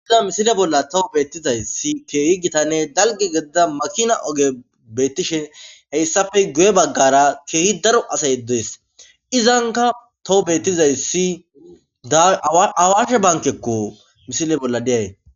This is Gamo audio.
Ia misile bolla tawu beettizayssi keehi gitanne dalgi gadida makina oge beettishen heyssafe guye baggara keehi daro asa yeddees izanka tawu beettizayssi awashe bankekko misile bolla deay.